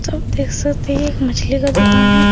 सब देख सकते हैं एक मछली का दुकान है।